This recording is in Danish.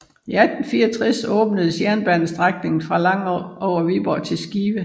I 1864 åbnedes jernbanestrækningen fra Langå over Viborg til Skive